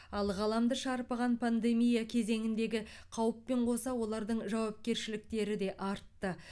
ал ғаламды шарпыған пандемия кезеңіндегі қауіппен қоса олардың жауапкершіліктері де артты